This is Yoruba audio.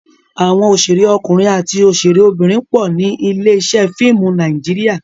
Àwọn òṣèré ọkùnrin àti òṣèré obìnrin pọ̀ ní ilé-iṣẹ́ fíìmù Nàíjíríà.